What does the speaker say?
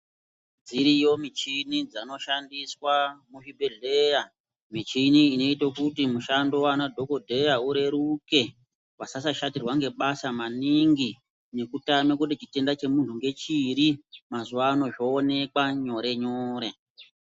Dziriyo michini dzinoshandiswa a muzvibhehleya michini inoite kuti mishando waanadhokodheya ureruke vasashatirwa ngebasa maningi nekutame kuti chitenda chemunhu ngechiri ,mazuwa ano zvoonekwa nyorenyore.